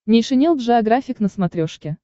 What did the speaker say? нейшенел джеографик на смотрешке